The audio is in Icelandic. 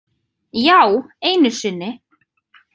Já, einu sinni.